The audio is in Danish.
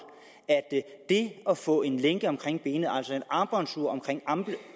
at det at få en lænke omkring benet altså et armbåndsur omkring